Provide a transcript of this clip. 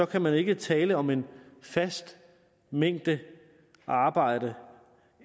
kan man ikke tale om en fast mængde arbejde